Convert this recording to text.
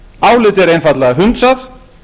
álitið er einfaldlega hundsað